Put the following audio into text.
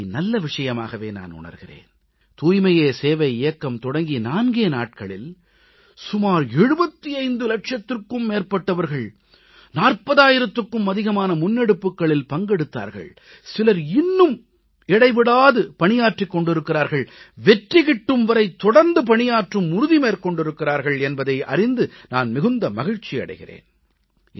இதை நல்ல விஷயமாகவே நான் உணர்கிறேன் தூய்மையே சேவை இயக்கம் தொடங்கி நான்கே நாட்களில் சுமார் 75 லட்சத்திற்கும் மேற்பட்டவர்கள் 40000த்திற்கும் அதிகமான முன்னெடுப்புகளில் பங்கெடுத்தார்கள் சிலர் இன்னும் விடாது பணியாற்றிக் கொண்டிருக்கிறார்கள் வெற்றி கிட்டும் வரை தொடர்ந்து பணியாற்றும் உறுதி மேற்கொண்டிருக்கிறார்கள் என்பதை அறிந்து நான் மிகுந்த மகிழ்ச்சி அடைகிறேன்